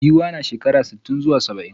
Giwa na shekara sitin zuwa saba'in.